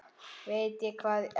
Veit ég hvað ekki?